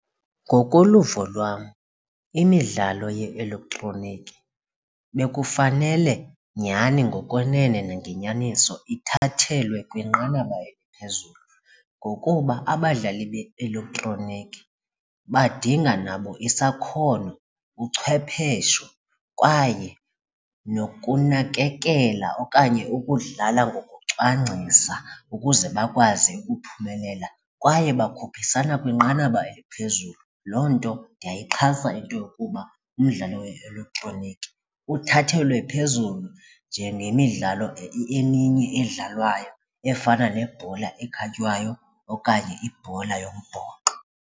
Ngokoluvo lwam imidlalo ye-elektroniki bekufanele nyhani ngokwenene nangenyaniso ithathelwe kwinqanaba eliphezulu ngokuba abadlali be-elektroniki badinga nabo isakhono, uchwephesho kwaye nokunakekela okanye ukudlala ngokucwangcisa ukuze bakwazi ukuphumelela. Kwaye bakhuphisana kwinqanaba eliphezulu, loo nto ndiyayixhasa into yokuba umdlalo we-elektroniki uthathelwe phezulu njengemidlalo eminye edlalwayo efana nebhola ekhatywayo okanye ibhola yombhoxo.